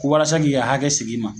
Walasa k'i ka hakɛ sig'i ma